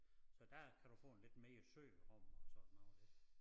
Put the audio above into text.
Så der kan du få en lidt mere sød rom og sådan noget det